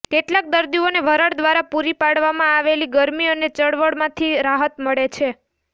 કેટલાંક દર્દીઓને વરાળ દ્વારા પૂરી પાડવામાં આવેલી ગરમી અને ચળવળમાંથી રાહત મળે છે